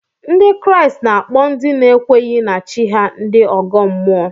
Ndị Kraịst na-akpọ ndị na-ekweghị na chi ha ndị ọgọ mmụọ